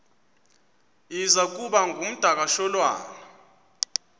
iza kuba ngumdakasholwana